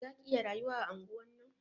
Za ki iya rayuwa a anguwan nan?